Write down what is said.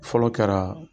Fɔlɔ kɛra